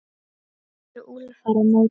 spyr Úlfar á móti?